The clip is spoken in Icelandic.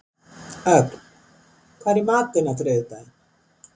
Ögn, hvað er í matinn á þriðjudaginn?